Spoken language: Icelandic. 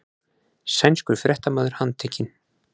Sænskur fréttamaður handtekinn